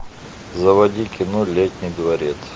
заводи кино летний дворец